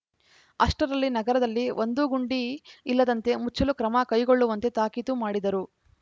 ಅಷ್ಟರಲ್ಲಿ ನಗರದಲ್ಲಿ ಒಂದೂ ಗುಂಡಿ ಇಲ್ಲದಂತೆ ಮುಚ್ಚಲು ಕ್ರಮ ಕೈಗೊಳ್ಳುವಂತೆ ತಾಕೀತು ಮಾಡಿದರು